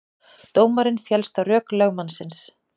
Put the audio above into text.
Dómarinn féllst á rök lögmannsins